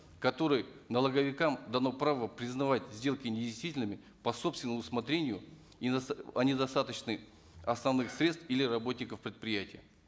в котором налоговикам дано право признавать сделки недействительными по собственному усмотрению о недостаточных основных средств или работников предприятия